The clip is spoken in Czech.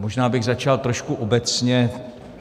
Možná bych začal trošku obecně.